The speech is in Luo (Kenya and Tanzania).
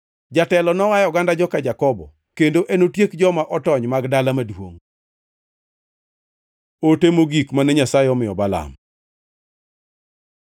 Jatelo noa e oganda joka Jakobo, kendo enotiek joma otony mag dala maduongʼ.” Ote mogik mane Nyasaye omiyo Balaam